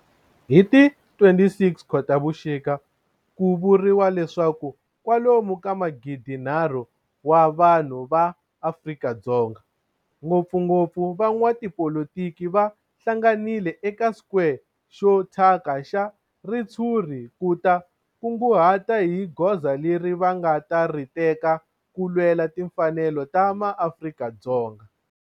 Hi ti 26 Khotavuxika ku vuriwa leswaku kwalomu ka magidi-nharhu wa vanhu va Afrika-Dzonga, ngopfungopfu van'watipolitiki va hlanganile eka square xo thyaka xa ritshuri ku ta kunguhata hi goza leri va nga ta ri teka ku lwela timfanelo ta maAfrika-Dzonga.